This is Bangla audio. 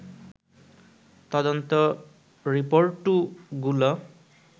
তদন্ত রিপোর্টু গুলো